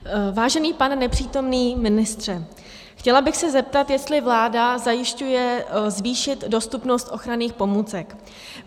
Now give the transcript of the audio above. Vážený pane nepřítomný ministře, chtěla bych se zeptat, jestli vláda zajišťuje zvýšit dostupnost ochranných pomůcek.